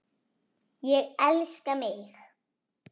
Ég elska mig!